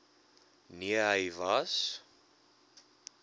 nee hy was